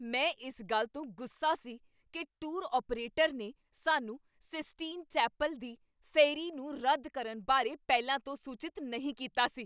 ਮੈਂ ਇਸ ਗੱਲ ਤੋਂ ਗੁੱਸਾ ਸੀ ਕੀ ਟੂਰ ਆਪਰੇਟਰ ਨੇ ਸਾਨੂੰ ਸਿਸਟੀਨ ਚੈਪਲ ਦੀ ਫੇਰੀ ਨੂੰ ਰੱਦ ਕਰਨ ਬਾਰੇ ਪਹਿਲਾਂ ਤੋਂ ਸੂਚਿਤ ਨਹੀਂ ਕੀਤਾ ਸੀ।